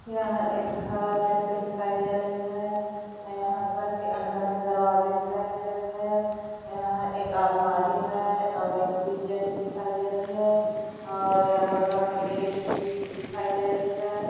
यह एक घर जैसे दिखाई दे रही हैं यहाँ घर के अंदर में दरवाजे दिखाई दे रही हैं यहाँ एक अलमारी हैं और एक फ्रिज जैसी दिखाई दे रही हैं और यह बगल में गेट भी दी दिखाई दे रही हैं।